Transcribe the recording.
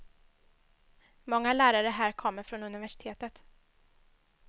Många lärare här kommer från universitet.